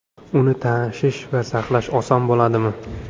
Uni tashish va saqlash oson bo‘ladimi?